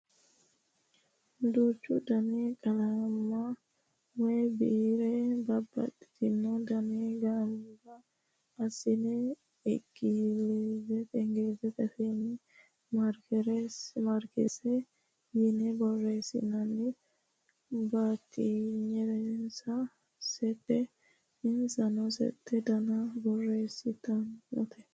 Duuchu Dani qalamma woyi biire babbaxino Dana Gamba assine ingilizete afiinni maarkersi yine borreessinoonni. Batinyinsano settete insano sette Dana borreessitabbote.